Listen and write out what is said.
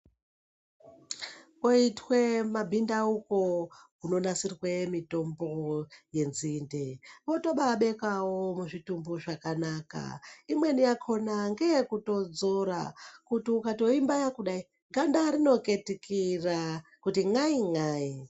Koitwe mabhindauko anonasirwe mutombo yenzinde wotobaabekawo zvakanaka, imweni yakona ngeyekutodzora imweni yakona ngeyekuti ukatoibaya kudai ganda rinoketukira kuti n'ai n'ai.